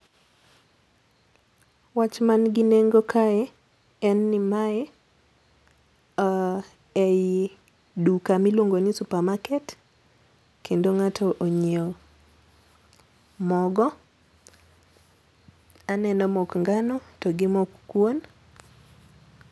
Wach man gi nengo kae en ni mae oo eyi duka miluongo ni suppermarket kendo ng'ato onyiewo mogo. Aneno mok ngano to gi mok kuon.